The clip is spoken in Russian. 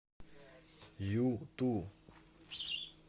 юту